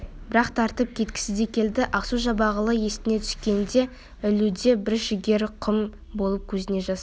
бір-ақ тартып кеткісі де келді ақсу-жабағылы есіне түскенде ілуде бір жігері құм болып көзіне жас